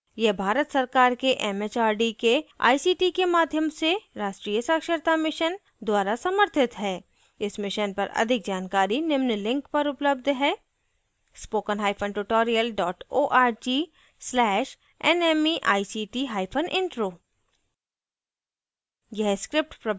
यह भारत सरकार के एमएचआरडी के आईसीटी के माध्यम से राष्ट्रीय साक्षरता mission द्वारा समर्थित है इस mission पर अधिक जानकारी निम्न link पर उपलब्ध है